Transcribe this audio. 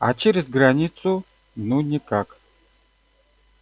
а через границу ну никак